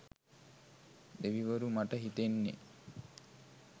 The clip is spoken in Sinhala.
දෙවිවරු මට හිතෙන්නෙ